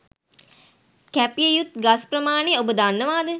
කැපිය යුතු ගස් ප්‍රමාණය ඔබ දන්නවාද?